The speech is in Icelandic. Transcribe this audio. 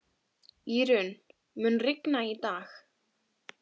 Írunn, mun rigna í dag?